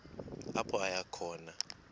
apho aya khona